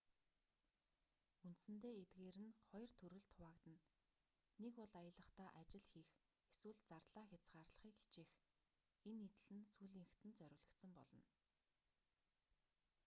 үндсэндээ эдгээр нь хоёр төрөлд хуваагдана нэг бол аялахдаа ажил хийх эсвэл зардлаа хязгаарлахыг хичээх энэ нийтлэл нь сүүлийнхэд нь зориулагдсан болно